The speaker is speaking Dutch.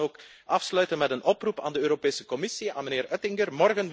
Ik wil dan ook afsluiten met een oproep aan de Europese Commissie, aan meneer Oettinger.